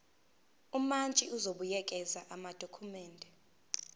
umantshi uzobuyekeza amadokhumende